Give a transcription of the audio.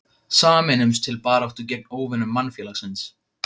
Sameinumst til baráttu gegn óvinum mannfélagsins.